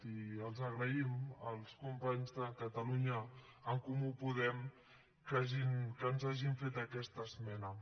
i els agraïm als companys de catalunya en comú podem que ens hagin fet aquesta esmena